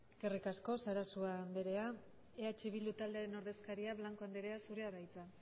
eskerrik asko sarasua andrea eh bildu taldearen ordezkaria blanco andrea zurea da hitza